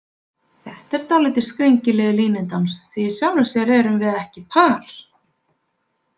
Þetta er dálítið skringilegur línudans því í sjálfu sér erum við ekki par.